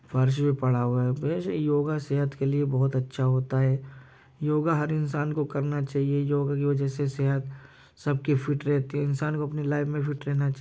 फर्श पे पड़ा हुआ है वैसे योगा सेहत के लिए बहोत अच्छा होता है। योगा हर इंसान को करना चाहिए। योगा की वजह से सेहत सबकी फीट रहती है इंसान को अपनी लाइफ में फीट रहना चा --